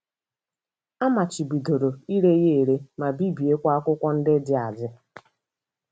A machibidoro ire ya ere, ma bibiekwa akwụkwọ ndị dị adị.